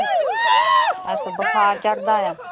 ਅੱਛਾ ਬੁਖਾਰ ਚੜਦਾ ਆ?